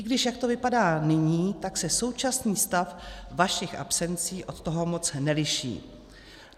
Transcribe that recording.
I když jak to vypadá nyní, tak se současný stav vašich absencí od toho moc neliší.